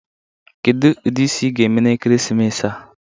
Kedu ụdị isi ị ga-eme na ekeresimesi a?